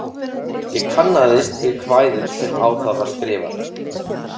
Ég kannaðist við kvæðið sem á það var skrifað.